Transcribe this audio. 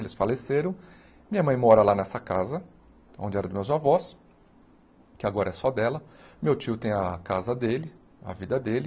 Eles faleceram, minha mãe mora lá nessa casa, onde era dos meus avós, que agora é só dela, meu tio tem a casa dele, a vida dele,